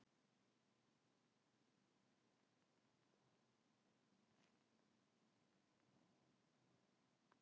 Ég var það.